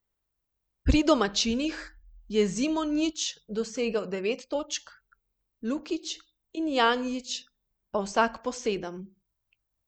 Pri domačinih je Zimonjić dosegel devet točk, Lukić in Janjić pa vsak po sedem.